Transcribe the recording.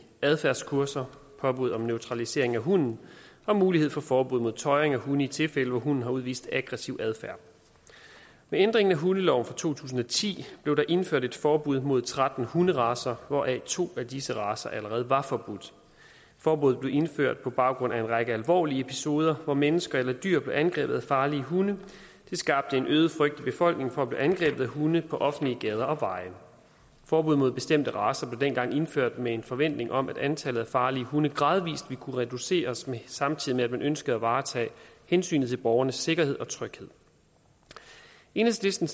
adfærdskurser påbud om neutralisering af hunden og mulighed for forbud mod tøjring af hunde i tilfælde hvor hunden har udvist aggressiv adfærd med ændringen af hundeloven fra to tusind og ti blev der indført et forbud mod tretten hunderacer hvoraf to af disse racer allerede var forbudt forbuddet blev indført på baggrund af en række alvorlige episoder hvor mennesker eller dyr blev angrebet af farlige hunde det skabte en øget frygt i befolkningen for at blive angrebet af hunde på offentlige gader og veje forbud mod bestemte racer blev dengang indført med en forventning om at antallet af farlige hunde gradvis ville kunne reduceres samtidig med at man ønskede at varetage hensynet til borgernes sikkerhed og tryghed enhedslisten